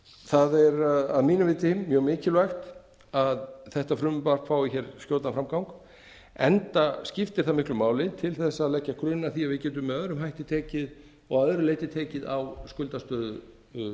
það er að mínu viti mjög mikilvægt að þetta frumvarp fái hér skjótan framgang enda skiptir það miklu máli til þess að leggja grunn að því að við getum með öðrum hætti og að öðru leyti tekið á skuldastöðu